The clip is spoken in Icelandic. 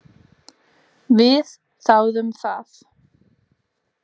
Við þáðum það.